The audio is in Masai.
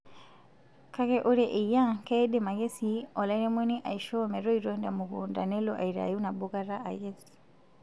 Kake ore eyia, keidim ake sii alairemoni aishoo metoito temukunta nelo aitayu nabokata aikes.